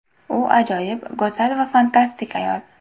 U ajoyib, go‘zal va fantastik ayol”.